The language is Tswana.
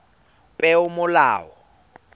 peomolao